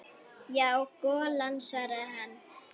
Já, golan svaraði hann.